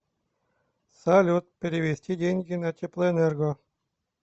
салют перевести деньги на теплоэнерго